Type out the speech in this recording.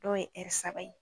Dɔw ye saba ye